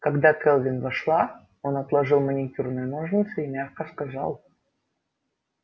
когда кэлвин вошла он отложил маникюрные ножницы и мягко сказал